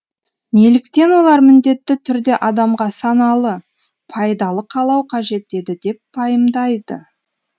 неліктен олар міндетті түрде адамға саналы пайдалы қалау қажет еді деп пайымдайды